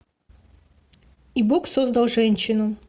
и бог создал женщину